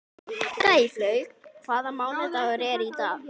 Gæflaug, hvaða mánaðardagur er í dag?